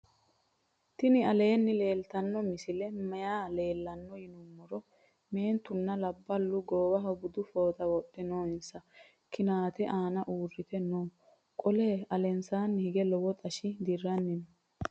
tini aleni leltano misileni maayi leelano yinnumoro. mentuna laabalu gowaho buudu fooxa wodhe nooinsa kinate anna uurite noo. qole alensani hiige lowo xashi dirani noo.